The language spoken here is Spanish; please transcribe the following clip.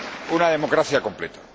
una democracia al completo.